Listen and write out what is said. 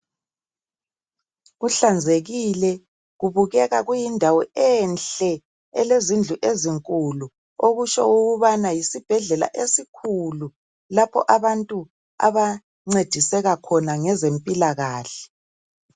Kuhlanzekile kubukeka kuyindawo enhle elezindlu ezinkulu okutsho ukubana yisibhedlela esikhulu lapho abantu abancediseka khona ngezempilakahle.